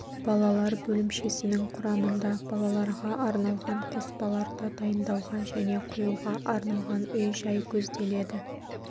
балалар бөлімшесінің құрамында балаларға арналған қоспаларды дайындауға және құюға арналған үй-жай көзделеді